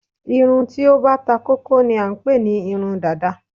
irun tí ó bá takókó ni à ń pé ní irun Dàda